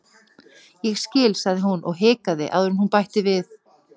Ég skil- sagði hún og hikaði áður en hún bætti við:-